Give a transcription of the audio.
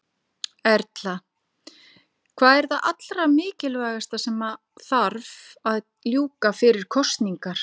Erla: Hvað er það allra mikilvægasta sem að þarf að ljúka fyrir kosningar?